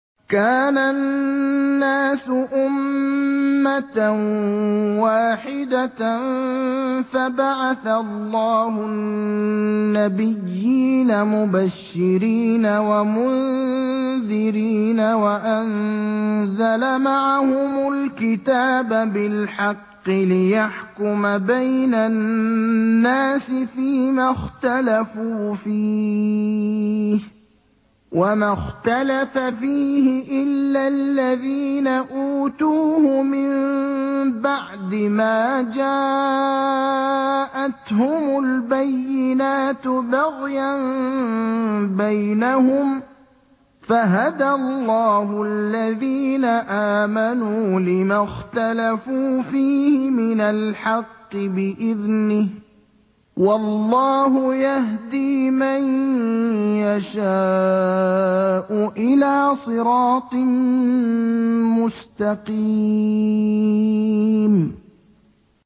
كَانَ النَّاسُ أُمَّةً وَاحِدَةً فَبَعَثَ اللَّهُ النَّبِيِّينَ مُبَشِّرِينَ وَمُنذِرِينَ وَأَنزَلَ مَعَهُمُ الْكِتَابَ بِالْحَقِّ لِيَحْكُمَ بَيْنَ النَّاسِ فِيمَا اخْتَلَفُوا فِيهِ ۚ وَمَا اخْتَلَفَ فِيهِ إِلَّا الَّذِينَ أُوتُوهُ مِن بَعْدِ مَا جَاءَتْهُمُ الْبَيِّنَاتُ بَغْيًا بَيْنَهُمْ ۖ فَهَدَى اللَّهُ الَّذِينَ آمَنُوا لِمَا اخْتَلَفُوا فِيهِ مِنَ الْحَقِّ بِإِذْنِهِ ۗ وَاللَّهُ يَهْدِي مَن يَشَاءُ إِلَىٰ صِرَاطٍ مُّسْتَقِيمٍ